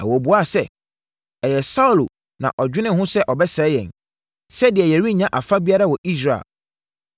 Na wɔbuaa sɛ, “Ɛyɛ Saulo na ɔdwenee ho sɛ ɔbɛsɛe yɛn, sɛdeɛ yɛrennya afa biara wɔ Israel.